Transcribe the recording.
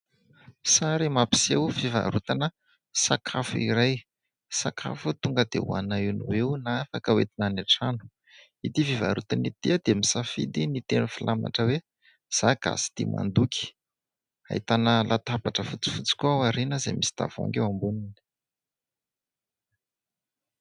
Sary mampiseho fivarotana sakafo iray, sakafo tonga dia hoanina eo noho eo na afaka entina any an-trano. Itỳ fivarotana itỳ dia misafidy ny teny filamatra hoe "Izaho gasy tia mandoky". Ahitana latabatra fotsifotsy koa ao aoriana izay misy tavoahangy eo amboniny.